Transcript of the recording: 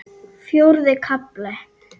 Fjórði kafli